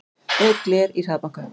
Braut gler í hraðbanka